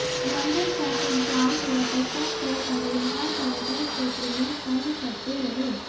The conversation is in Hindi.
लंबे ट्रैफिक जाम पर्यटकों को करीब हर पर्यटन क्षेत्र में तंग करते रहे